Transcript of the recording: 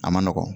A ma nɔgɔn